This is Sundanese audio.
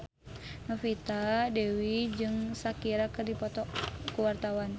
Novita Dewi jeung Shakira keur dipoto ku wartawan